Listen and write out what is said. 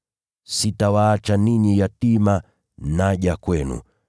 Sitawaacha ninyi yatima, naja kwenu.